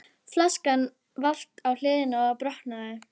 Kristján Már: En þú bauðst hann velkomin?